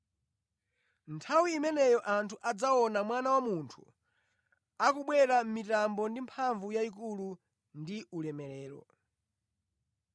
“Nthawi imeneyo anthu adzaona Mwana wa Munthu akubwera mʼmitambo ndi mphamvu yayikulu ndi ulemerero.